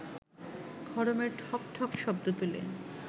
খড়মের ঠকঠক শব্দ তুলে